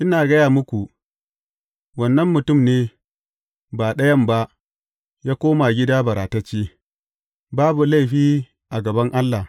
Ina gaya muku, wannan mutum ne, ba ɗayan ba, ya koma gida baratacce, babu laifi a gaban Allah.